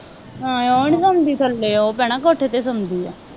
ਹਾਂ ਉਹ ਨਹੀਂ ਸੌਂਦੀ ਥੱਲੇ, ਉਹ ਭੈਣਾ ਕੋਠੇ ਤੇ ਸੌਂਦੀ ਹੈ,